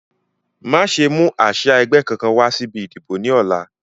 Má ṣe mú àsia ẹgbẹ́ kankan wá síbi ìdìbò ni ọ̀la